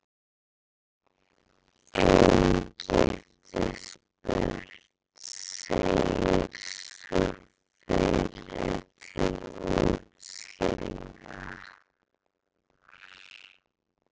Ein giftist burt, segir sú fyrri til útskýringar.